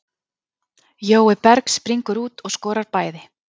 Jói Berg springur út og skorar bæði.